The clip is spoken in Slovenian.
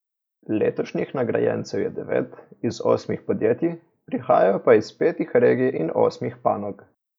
Letošnjih nagrajencev je devet, iz osmih podjetij, prihajajo pa iz petih regij in osmih panog.